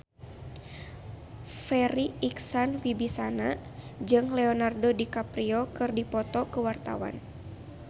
Farri Icksan Wibisana jeung Leonardo DiCaprio keur dipoto ku wartawan